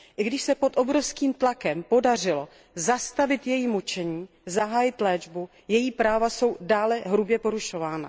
I když se pod obrovským tlakem podařilo zastavit její mučení a zahájit léčbu, její práva jsou dále hrubě porušována.